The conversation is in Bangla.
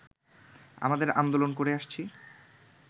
আমাদের আন্দোলন করে আসছি